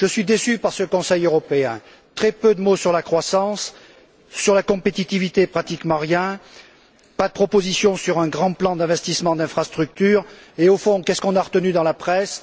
Je suis déçu par ce Conseil européen très peu de mots sur la croissance sur la compétitivité, pratiquement rien pas de propositions sur un grand plan d'investissement d'infrastructures et, au fond, qu'avons nous retenu dans la presse?